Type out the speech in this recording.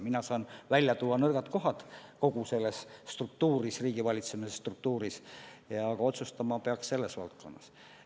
Mina saan välja tuua nõrgad kohad kogu selles struktuuris, riigivalitsemise struktuuris, aga otsustama peaks konkreetses valdkonnas.